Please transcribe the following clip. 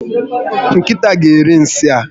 Nkịta ga eri nsị a